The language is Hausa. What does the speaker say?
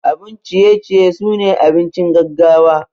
Abun ciye ciye sune abincin gaggawa.